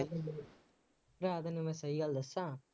ਭਰਾ ਤੈਨੂੰ ਮੈਂ ਸਹੀ ਗੱਲ ਦੱਸਾਂ,